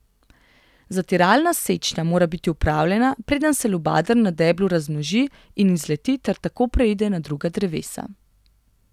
Zatiralna sečnja mora biti opravljena, preden se lubadar na deblu razmnoži in izleti ter tako preide na druga drevesa.